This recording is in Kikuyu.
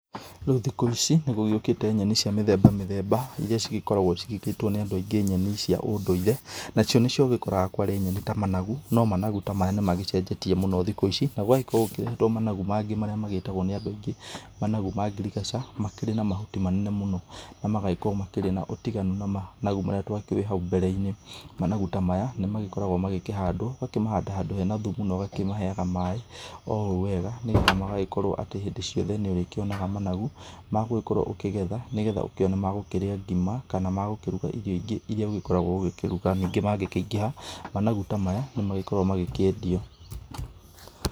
Rĩu thikũ ici, nĩgũgĩũkĩte nyeni cia mĩthemba mĩthemba, iria cigĩkoragwo ciĩtĩtwo nĩ andũ aingĩ nyeni cia ũndũire, nacio nĩcio ũgĩkoraga kwarĩ nyeni ta managu, no managu ta maya nĩmagĩcenjetie mũno thikũ ici, na gũgagĩkorwo gũkĩrehetwo managu mangĩ, marĩa magĩtagwo nĩ andũ angĩ, managu ma ngirigaca, makĩrĩ na mahuti manene mũno na magĩkorwo marĩ na ũtiganu mũnene mũno na managu marĩa twakĩũĩ hau mbere-inĩ, managu ta maya nĩmagĩkoragwo magĩkĩhandwo, ũgakĩmahanda handũ hena thumu na ũgakĩmaheaga maĩ oũũ wega nĩgetha magagĩkorwo atĩ hĩndĩ ciothe nĩũrĩkĩonaga managu magũgĩkorwo ũkĩgetha nĩgetha ũkĩone magũkĩrĩa ngima, kana magũkĩruga irio ingĩ, iria ũgĩkoragwo ũkĩruga, ningĩ mangĩkĩingĩha, managu ta maya nĩmagĩkoragwo magĩkĩendio .